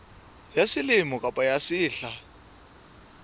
ya selemo kapa ya sehla